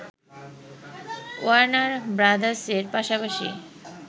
Warner ব্রাদার্সের পাশাপাশি